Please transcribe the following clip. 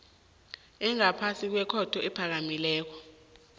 engaphasi kwekhotho ephakemeko